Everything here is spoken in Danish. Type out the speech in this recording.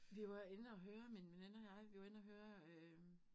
Vi var inde og høre min veninde og jeg vi var inde og høre øh